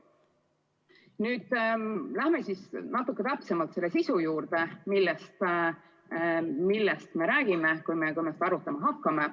Nüüd lähen natukene täpsemalt selle sisu juurde, millest me räägime, kui me seda arutama hakkame.